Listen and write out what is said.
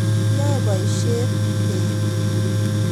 yae boisiet teksik